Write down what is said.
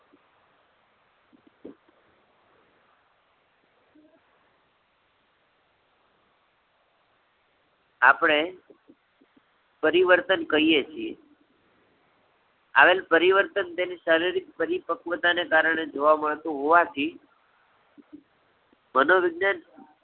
આપણે પરિવર્તન કહીએ છીએ. આવેલ પરિવર્તન તેની શારીરિક પરિપક્વતા ને કારણે જોવા મળતું હોવાથી, મનોરંજન